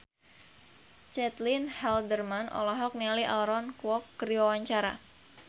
Caitlin Halderman olohok ningali Aaron Kwok keur diwawancara